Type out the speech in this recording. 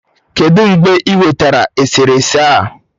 Kedụ mgbe ị nwetara eserese a?